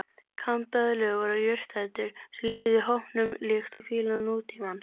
Kambeðlur voru jurtaætur sem lifðu í hópum líkt og fílar nútímans.